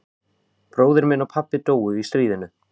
Bróðir minn og pabbi dóu í stríðinu.